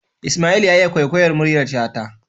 Isma'il ya iya kwaikwayar muryar shata